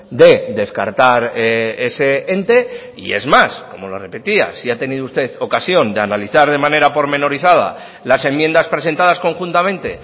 de descartar ese ente y es más como lo repetía si ha tenido usted ocasión de analizar de manera pormenorizada las enmiendas presentadas conjuntamente